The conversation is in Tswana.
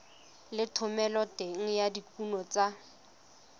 le thomeloteng ya dikuno tsa